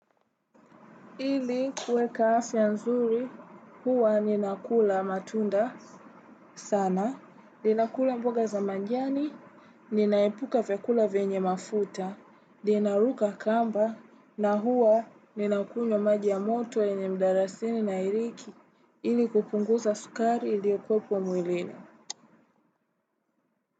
Ili kuweka afya nzuri, huwa ninakula matunda sana, ninakula mboga za majani, ninaepuka vyakula vyenye mafuta, ninaruka kamba, na huwa ninakunywa maji ya moto yenye mdalasini na iriki ili kupunguza sukari iliokuwepo mwilini.